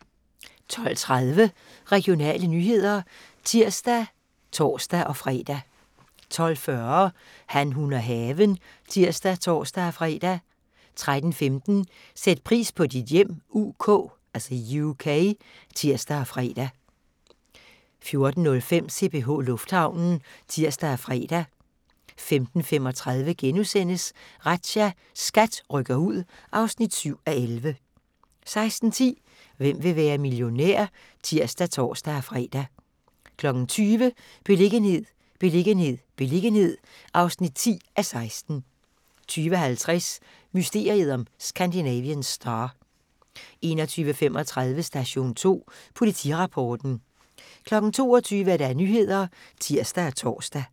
12:30: Regionale nyheder (tir og tor-fre) 12:40: Han, hun og haven (tir og tor-fre) 13:15: Sæt pris på dit hjem UK (tir og fre) 14:05: CPH Lufthavnen (tir og fre) 15:35: Razzia – SKAT rykker ud (7:11)* 16:10: Hvem vil være millionær? (tir og tor-fre) 20:00: Beliggenhed, beliggenhed, beliggenhed (10:16) 20:50: Mysteriet om Scandinavian Star 21:35: Station 2 Politirapporten 22:00: Nyhederne (tir og tor)